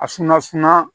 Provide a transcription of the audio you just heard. A suma suma